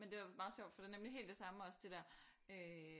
Men det er jo meget sjovt for det er nemlig helt det samme også det der øh